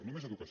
només educació